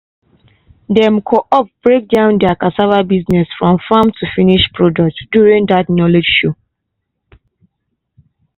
dem co-op break down their cassava business from farm to finish product during that knowledge show.